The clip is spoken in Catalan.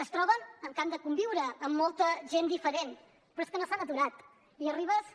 es troben amb que han de conviure amb molta gent diferent però és que no s’han aturat i arribes i